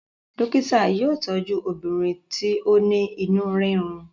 dókítà yóò tọju obìnrin ti o ní inú rirun.